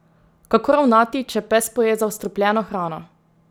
Kako ravnati, če pes poje zastrupljeno hrano?